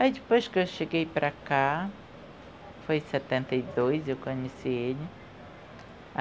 Aí depois que eu cheguei para cá, foi em setenta e dois eu conheci ele.